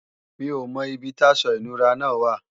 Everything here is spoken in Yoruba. Mi ò mọ ibi táṣọ ìnura náà wà